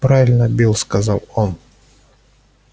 правильно билл сказал он